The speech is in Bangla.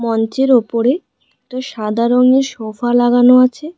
মঞ্চের ওপরে একটা সাদা রঙের সোফা লাগানো আছে।